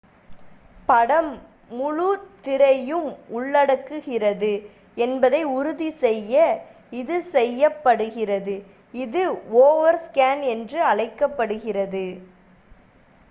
படம் முழு திரையும் உள்ளடக்குகிறது என்பதை உறுதி செய்ய இது செய்யப்படுகிறது இது ஓவர்ஸ்கேன் என்று அழைக்கப்படுகிறது